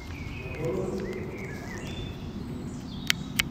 Meboloyu ina milango ino.